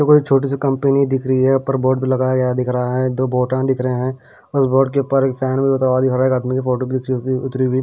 अ कोई छोटी सी कंपनी दिख रही है ऊपर बोर्ड भी लगाया गया दिख रहा है दो बोटन दिख रहे हैं उस बोर्ड के ऊपर एक फैन भी उतर दिख रहा है एक आदमी की फोटो अ अ भी उतरी हुई।